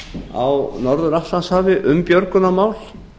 á norður atlantshafi um björgunarmál